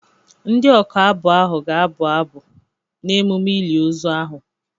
Ndị ọka abụ ahụ ga-abụ abụ n'emume ili ozu ahụ.